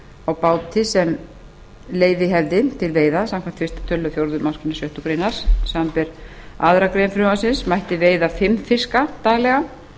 á báti sem leyfi hefði til veiða samkvæmt fyrsta tölulið fjórðu málsgrein sjöttu grein samanber aðra grein frumvarpsins mætti veiða fimm fiska daglega